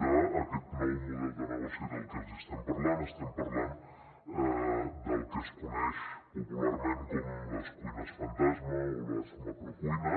d’aquest nou model de negoci del que els hi estem parlant estem parlant del que es coneix popularment com les cuines fantasma o les macrocuines